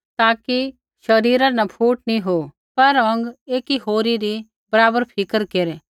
ताकि शरीरा न फूट नी हो पर अौंग एकी होरी री बराबर फिक्र केरै